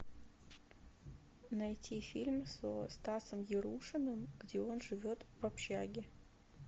найти фильм со стасом ярушиным где он живет в общаге